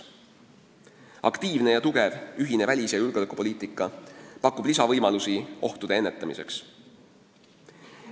Aktiivne ja kindel ühine välis- ja julgeolekupoliitika pakub lisavõimalusi julgeolekuohtude ennetamiseks.